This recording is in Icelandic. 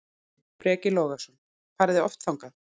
Breki Logason: Farið þið oft þangað?